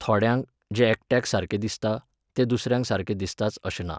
थोड्यांक, जें एकट्याक सारकें दिसता, तें दुसऱ्याक सारकें दिसताच अशें ना.